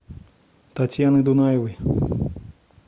татьяны дунаевой